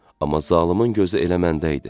Amma zalımın gözü elə məndə idi.